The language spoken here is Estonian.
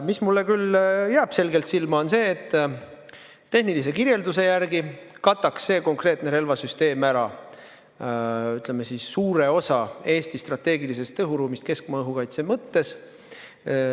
Mis mulle küll jääb selgelt silma, on see, et tehnilise kirjelduse järgi kataks see konkreetne relvasüsteem ära, ütleme siis, suure osa Eesti strateegilisest õhuruumist keskmaa-õhukaitse mõttes.